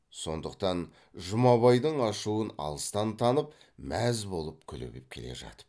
сондықтан жұмабайдың ашуын алыстан танып мәз болып күлігіп келе жатып